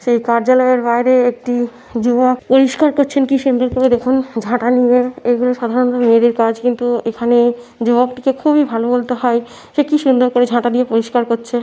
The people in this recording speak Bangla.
সেই কার্যালয়ের বাইরে একটি যুবক পরিষ্কার করছেন কি সুন্দর করে দেখুন ঝাঁটা নিয়ে এগুলো সাধারণত মেয়েদের কাজ কিন্ত এখানে যুবকটিকে খুবই ভালো বলতে হয় সে কি সুন্দর করে ঝাঁটা দিয়ে পরিষ্কার করছে।